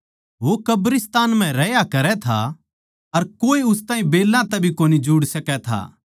वो कब्रिस्तान म्ह रह्या करै था अर कोए उस ताहीं बेल्लां तै भी कोनी जुड़ सकै था